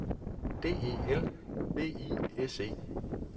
D E L V I S E